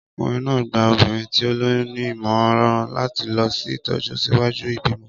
Ọkùnrin náà gba obìnrin tí ó lóyún ní ìmọ̀ràn láti lọ sí ìtọ́jú ṣíwájú ìbímọ.